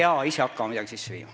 Ei pea ise hakkama midagi sisse viima.